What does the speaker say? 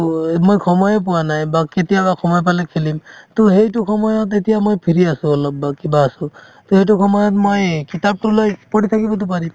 এই মই সময়ে পোৱা নাই বা কেতিয়াবা সময় পালে খেলিম to সেইটো সময়ত এতিয়া মই free আছো অলপ বা কিবা আছো তে সেইটো সময়ত মই কিতাপতো লৈ পঢ়ি থাকিবতো পাৰিম